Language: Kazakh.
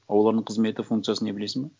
олардың қызметі функциясы не білесің бе